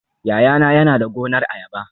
Yayana yana da gonar ayaba